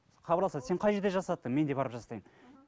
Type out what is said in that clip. хабарласады сен қай жерде жасаттың мен де барып жасатайын